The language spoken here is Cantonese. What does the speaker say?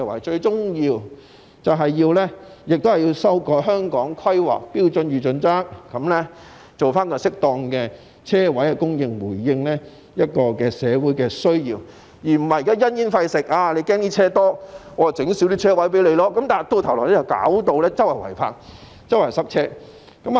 最終政府也要修改《香港規劃標準與準則》，確保有適當的車位供應，回應社會的需要，而不是因噎廢食，擔心汽車過多而減少提供泊車位，否則只會導致四處都是違泊車輛和交通擠塞。